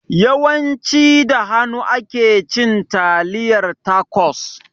Yawan ci da hanu ake cin taliyar tacos